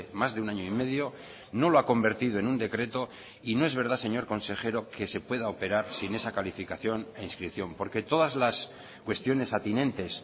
más de un año y medio no lo ha convertido en un decreto y no es verdad señor consejero que se pueda operar sin esa calificación e inscripción porque todas las cuestiones atinentes